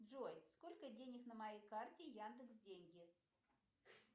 джой сколько денег на моей карте яндекс деньги